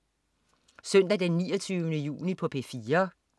Søndag den 29. juni - P4: